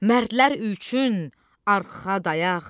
Mərdlər üçün arxa dayağ.